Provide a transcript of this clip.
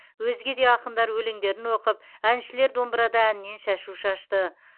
өзге де ақындар өлеңдерін оқып әншілер домбырада әннен шашу шашты